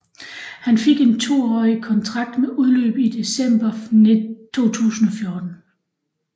Han fik en toårig kontrakt med udløb i december 2014